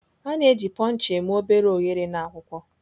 A na-eji Puncher eme obere oghere na akwụkwọ.